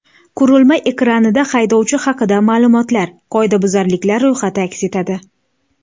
Qurilma ekranida haydovchi haqida ma’lumotlar, qoidabuzarliklar ro‘yxati aks etadi.